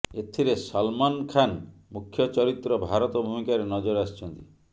ଏଥିରେ ସଲମାନ ଖାନ୍ ମୁଖ୍ୟ ଚରିତ୍ର ଭାରତ ଭୂମିକାରେ ନଜର ଆସିଛନ୍ତି